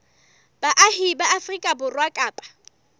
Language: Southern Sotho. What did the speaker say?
baahi ba afrika borwa kapa